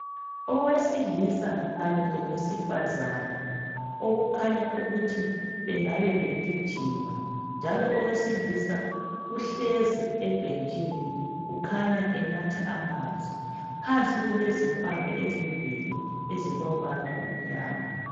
owesilisa kanye lowesifazane okukhanya ukuthi bengabe begijima njalo owesilisa uhlezi ebhentshini kukhasnya enatha amanzi phansi kulezikama ezimbili ezilombala omnyama